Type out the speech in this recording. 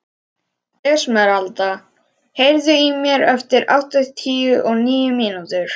Esmeralda, heyrðu í mér eftir áttatíu og níu mínútur.